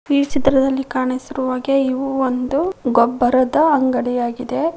ಈ ಚಿತ್ರದಲ್ಲಿ ಕಾಣಿಸಿರುವ ಹಾಗೆ ಇವು ಒಂದು ಗೊಬ್ಬರದ ಅಂಗಡಿಯಾಗಿದೆ.